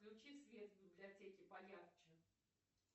включи свет в библиотеке поярче